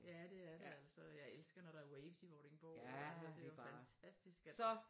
Ja det er det altså jeg elsker når der er Waves i Vordingborg det er jo fantastisk altså at